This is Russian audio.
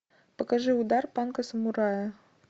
покажи удар панка самурая